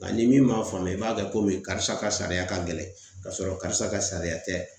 Nga ni min m'a faamuya i b'a kɛ komi karisa ka sariya ka gɛlɛn k'a sɔrɔ karisa ka sariya tɛ